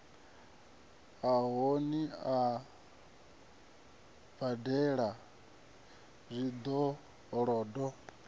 sa koni u badela zwikolodo